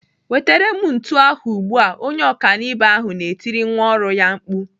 "wetere m ntu ahụ ugbu a!" Onye ọkanibo ahu na-etiri nwa ọrụ ya mkpu.